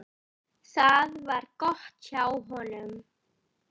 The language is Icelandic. Það var gott hjá honum.